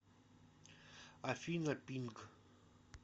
афина пинг